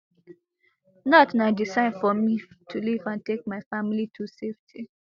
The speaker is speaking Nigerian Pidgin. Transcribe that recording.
dat na di sign for me to leave and take my family to safety